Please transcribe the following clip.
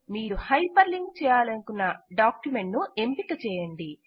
మీరు hyperlink చేయాలనుకున్న document ను ఎంపిక చేయండి